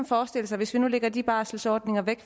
forestille sig hvis nu vi lægger de barselordninger væk